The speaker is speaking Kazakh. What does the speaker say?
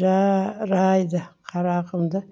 жа р айды қарағымды